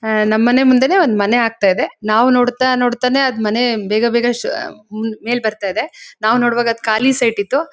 ಆಹ್ಹ್ ನಮ್ ಮನೆ ಮುಂದೇನೆ ಒಂದ್ ಮನೆ ಆಗ್ತಾ ಇದೆ. ನಾವ್ ನೋಡ್ತಾ ನೋಡ್ತಾನೆ ಅದ್ ಮನೆ ಬೇಗ ಬೇಗನ ಶ್ಹ್ ಮೆಲ್ ಬರ್ತಾ ಇದೆ. ನಾವ್ ನೋಡುವಾಗ ಅದ್ ಖಾಲಿ ಸೈಟ್ ಇತ್ತು.